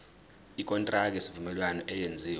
ikontraki yesivumelwano eyenziwe